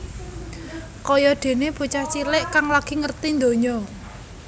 Kaya déné bocah cilik kang lagi ngerti ndonya